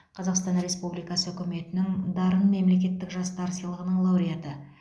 қазақстан республикасы үкіметінің дарын мемлекеттік жастар сыйлығының лауреаты